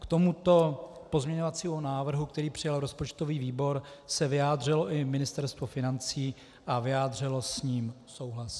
K tomuto pozměňovacímu návrhu, který přijal rozpočtový výbor, se vyjádřilo i Ministerstvo financí a vyjádřilo s ním souhlas.